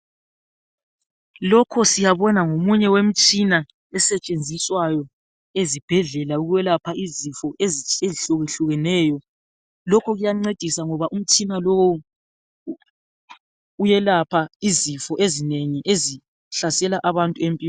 Lokho siyabona ngomunye wemtshina esetshenziswayo ezibhedlela ukwelapha izifo ezihlukehlukeneyo lokho kuyancedisa ngoba umtshina lowu uyelapha izifo ezinengi ezihlasela abantu empilweni.